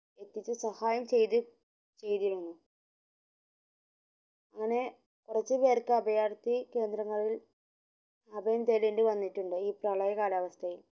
സഹായ ചെയ്ത ചെയ്തിരുന്നു അങ്ങനെ കൊർച് പേർക് അഭയാർത്ഥി കേന്ദ്രങ്ങളിൽ അഭയം തേടേണ്ടി വന്നിട്ടുണ്ട് ഈ പ്രളയ കാലാവസ്ഥയിൽ